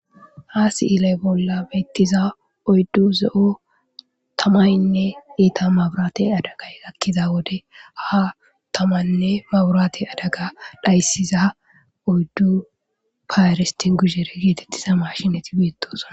ha si7ilay bolla beettiza oyddu ze7o tamaynne iita maburate adagay akkiza wode ha tamaynne baburate adaga dhayssiza oyddu paaristi gusere geetettiza mashinati beetosona